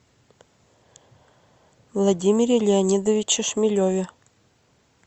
владимире леонидовиче шмелеве